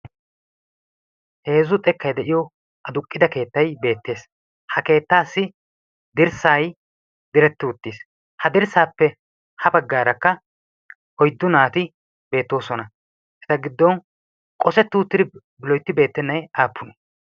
heezzu xekkay de'iyo aduqida keettay de'ees, ha keettaassi dirssay direti uttiis, ha dirsaappe ha bagaara oyddu naati beetoosona, ha dirsaappe ya bagaara qossetti naatu qooday aapunee?